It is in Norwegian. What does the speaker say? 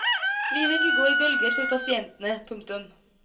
Livet vil gå i bølger for pasientene. punktum